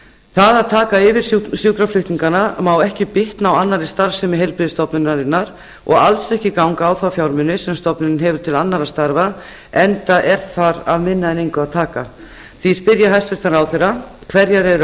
það að taka yfir sjúkraflutningana má ekki bitna á annarri starfsemi heilbrigðisstofnunarinnar og alls ekki ganga á þá fjármuni sem stofnunin hefur til annarra starfa enda er þar af einn en engu að taka því spyr ég hæstvirtan ráðherra fyrstu hverjar eru